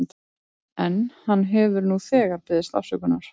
En hann hefur nú þegar beðist afsökunar.